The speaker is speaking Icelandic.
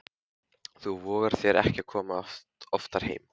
Þú vogar þér ekki að koma oftar heim!